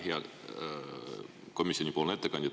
Hea komisjoni ettekandja!